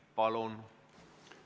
Palun!